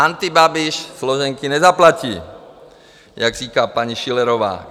Antibabiš složenky nezaplatí, jak říká paní Schillerová.